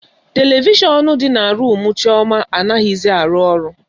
Televishọnụ dị na rumu Chioma anaghizi arụ ọrụ.